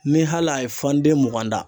Ni hal'a ye fan den mugan da